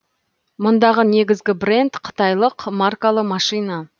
мұндағы негізгі бренд қытайлық маркалы машина